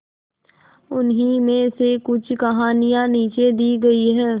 उन्हीं में से कुछ कहानियां नीचे दी गई है